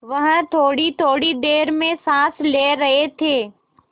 वह थोड़ीथोड़ी देर में साँस ले रहे थे